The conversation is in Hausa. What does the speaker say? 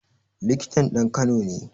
Likitan ɗan kano ne